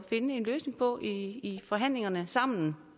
en løsning på i forhandlingerne sammen